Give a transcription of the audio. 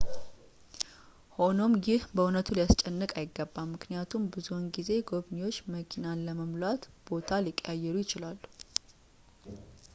ሆኖም ይህ በእውነቱ ሊያስጨንቅዎ አይገባም ምክንያቱም ብዙውን ጊዜ ጎብኚዎች መኪኖቹን ለመሙላት ቦታ ሊቀያየሩ ይችላሉ